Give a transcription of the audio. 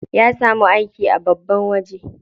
Ya samu aiki a babban waje.